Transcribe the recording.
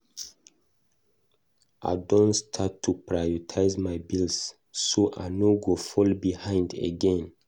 I don start to prioritize my bills so I no go fall behind again.